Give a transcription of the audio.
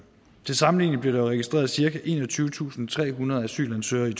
til sammenligning blev der registreret cirka enogtyvetusinde og trehundrede asylansøgere i